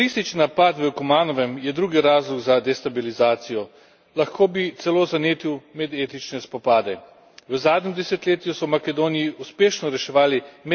Lahko bi celo zanetil medetnične spopade. V zadnjem desetletju so v Makedoniji uspešno reševali medetnične odnose na podlagi vsestranske inkluzije.